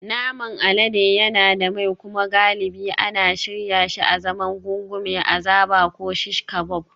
Naman alade yana da mai kuma galibi ana shirya shi azaman gungumen azaba ko shish kabob